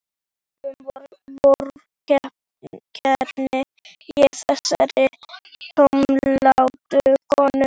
Ósköp vorkenni ég þessari tómlátu konu.